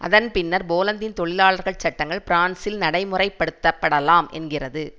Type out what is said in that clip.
அதன் பின்னர் போலந்தின் தொழிலாளர்கள் சட்டங்கள் பிரான்சில் நடைமுறைப்படுத்தப்படலாம் என்கிறது